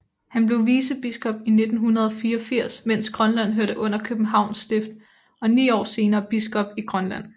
Han blev vicebiskop i 1984 mens Grønland hørte under Københavns Stift og ni år senere biskop i Grønland